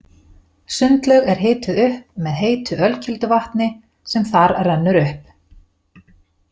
Sundlaug er hituð er upp með heitu ölkelduvatni sem þar rennur upp.